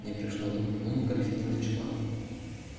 не прошло двух минут графиня начала